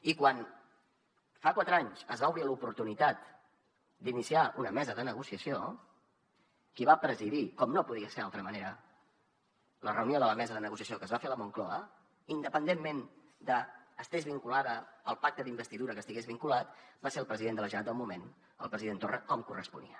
i quan fa quatre anys es va obrir l’oportunitat d’iniciar una mesa de negociació qui va presidir com no podia ser d’altra manera la reunió de la mesa de negociació que es va fer a la moncloa independentment que estigués vinculada al pacte d’investidura que estigués vinculada va ser el president de la generalitat del moment el president torra com corresponia